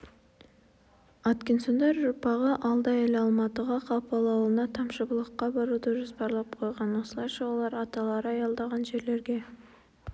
аткинсондар ұрпағы алда әлі алматыға қапал ауылына тамшыбұлаққа баруды жоспарлап қойған осылайша олар аталары аялдаған жерлерге